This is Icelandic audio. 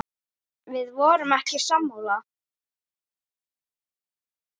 Við vorum ekki sammála því.